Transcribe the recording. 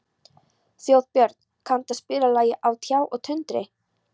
Þjóðbjörn, kanntu að spila lagið „Á tjá og tundri“?